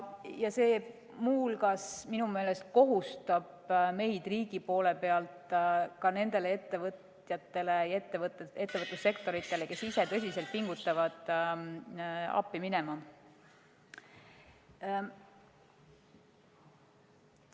Ja see muu hulgas minu meelest kohustab meid riigi poole pealt nendele ettevõtjatele ja ettevõtlussektoritele, kes ise tõsiselt pingutavad, appi minema.